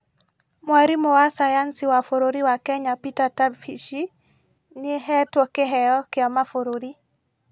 Mwarimo wa sayansi wa bũrũri wa Kenya Peter Tabichi nĩhetwo kĩheo kĩa mabũrũri